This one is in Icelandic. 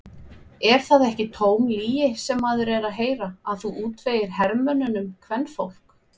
Er það ekki tóm lygi sem maður er að heyra að þú útvegir hermönnunum kvenfólk?